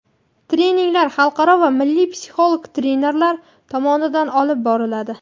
Treninglar xalqaro va milliy psixolog trenerlar tomonidan olib boriladi.